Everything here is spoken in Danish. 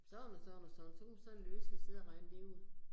Sådan og sådan og sådan, så kunne man sådan løseligt sidde og regne det ud